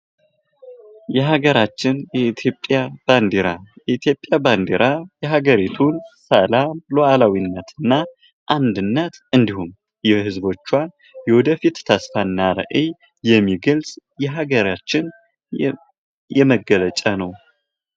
የሀገራችን የኢትዮጵያ ባንዲራ፡- የኢትዮጵያ ባንዲራ የሀገሪቱን ሰላም ሉአላዊነት እና አንድነት እንዲሁም የህዝቦችዋን የወደፊት ተስፋና ራዕይ የሚገልጽ የሀገራችን የመገለጫ ነው።